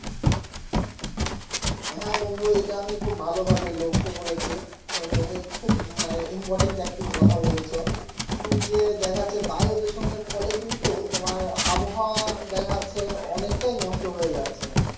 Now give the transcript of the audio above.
হ্যা বন্ধু এটা আমি খুব ভালো ভাবে লক্ষ্য করেছি তুমি খুব মানে important একটি কথা বলেছো উম যে দেখাচ্ছে বায়ু দূষণের ফলে কিন্তু তোমার আবহাওয়া দেখা যাচ্ছে অনেকটাই নষ্ট হয়ে যাচ্ছে